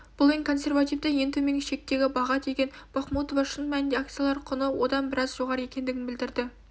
бұл ең консервативтік ең төменгі шектегі баға деген бахмутова шын мәнінде акциялар құны одан біраз жоғары екендігін білдірді